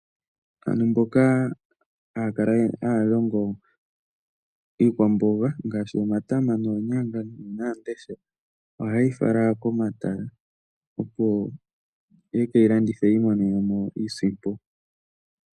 Aantu mboka haya kala haya longo iikwamboga ngaashi omatama, oonyanga nuunawandesha ohaye yi fala komatala, opo ye ke yi landithe yi imonene mo iisimpo.